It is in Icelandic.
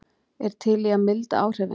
Er til í að milda áhrifin